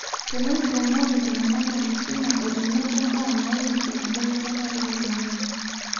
teneipromote iltungana enkisuma o tenebo mbaa naihusu enkibelekenya oloingange